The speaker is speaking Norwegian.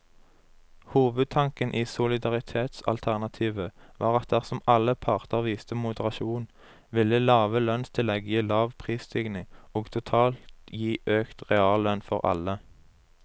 Hovedtanken i solidaritetsalternativet var at dersom alle parter viste moderasjon, ville lave lønnstillegg gi lav prisstigning og totalt gi økt reallønn for alle.